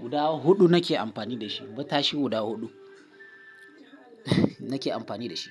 guda huɗu nake amfani da shi. Matashi guda huɗu nake amfani da shi.